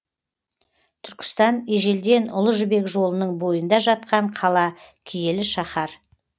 түркістан ежелден ұлы жібек жолының бойында жатқан қала киелі шаһар